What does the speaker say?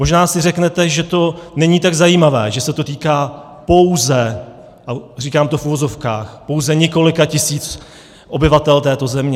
Možná si řeknete, že to není tak zajímavé, že se to týká pouze - a říkám to v uvozovkách - pouze několika tisíc obyvatel této země.